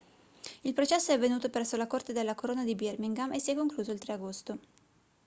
il processo è avvenuto presso la corte della corona di birmingham e si è concluso il 3 agosto